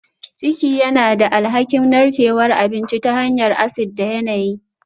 Ciki yana da alhakin narkewar abinci ta hanyar acid da yanayi